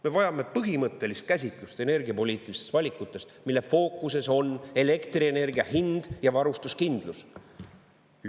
Me vajame põhimõttelist käsitlust energiapoliitilistest valikutest, mille fookuses on elektrienergia hind ja varustuskindlus.